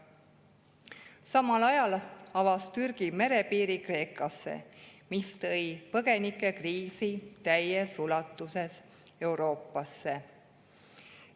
Samal ajal avas Türgi merepiiri Kreekasse, mis tõi põgenikekriisi täies ulatuses Euroopasse.